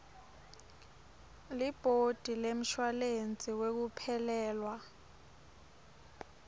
libhodi lemshuwalensi wekuphelelwa